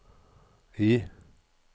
I